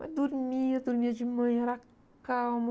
Mas dormia, dormia de manhã, era calmo.